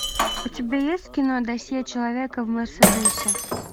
у тебя есть кино досье человека в мерседесе